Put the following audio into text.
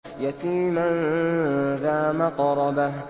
يَتِيمًا ذَا مَقْرَبَةٍ